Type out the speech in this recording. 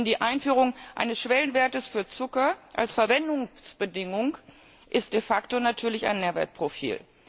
Denn die Einführung eines Schwellenwertes für Zucker als Verwendungsbedingung ist de facto natürlich ein Nährwertprofil.